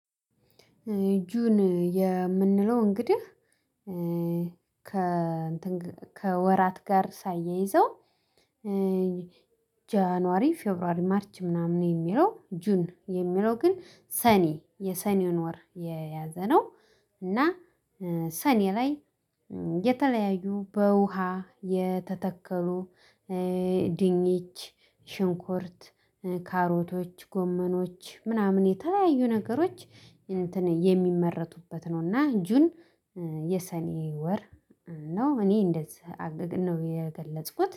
ጁን የምንለው እንግዲህ ከወራት ጋር ሳይያይዘው ጃንዋሪ ፌብሩዋሪ ማርች ምናምን የሚለው ጁን የሚለው ግን ሰኒ የሰኒውን ወር የያዘ ነው። እና ሰኒ ላይ የተለያዩ በውሃ የተተከሉ ድንች ሽንኩርት ካሮቶች ጎመኖች ምናምን የተለያዩ ነገሮች እንትን የሚመረቱበት ነውና። ጁን የሰኔ ወር ነው። እኔ እንደዚህ አገግን ነው የገለጽኩት